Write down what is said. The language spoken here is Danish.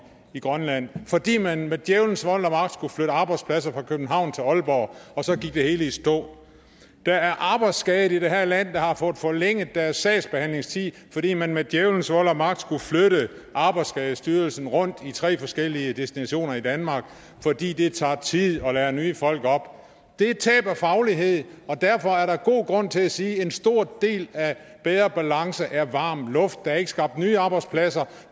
i grønland fordi man med djævelens vold og magt skulle flytte arbejdspladser fra københavn til aalborg og så gik det hele i stå der er arbejdsskadede i det her land der har fået forlænget deres sagsbehandlingstid fordi man med djævelens vold og magt skulle flytte arbejdsskadestyrelsen rundt til tre forskellige destinationer i danmark fordi det tager tid at lære nye folk op det er tab af faglighed og derfor er der god grund til at sige at en stor del af bedre balance er varm luft der er ikke skabt nye arbejdspladser